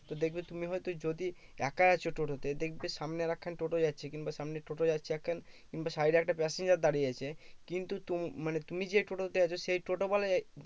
তো দেখবে তুমি হয়তো যদি একা আছো টোটোতে দেখবে সামনে আরেক খানা টোটো যাচ্ছে কিংবা সামনে টোটো যাচ্ছে কিংবা side এ একটা passenger দাঁড়িয়ে আছে কিন্তু তুম মানে তুমি যেই টোটো তে আছো সেই টোটোওয়ালাই